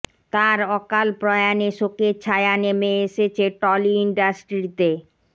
তার অকাল প্রয়াণে শোকের ছায়া নেমে এসেছে টলি ইন্ডাস্ট্রিতে